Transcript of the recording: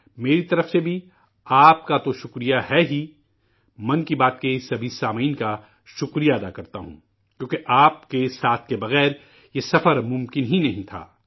میری طرف سے بھی، آپ سبھی کو مبارکباد، 'من کی بات' کے سبھی سامعین کا شکر گزار ہوں ، کیونکہ آپ کے ساتھ کے بغیر یہ سفر ممکن ہی نہیں تھا